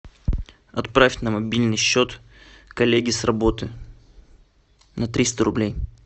отправь на мобильный счет коллеге с работы на триста рублей